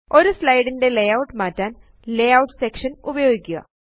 ഒരു സ്ലൈഡ് ന്റെ ലേയൂട്ട് മാറ്റാന് ലേയൂട്ട് സെക്ഷൻ ഉപയോഗിക്കുക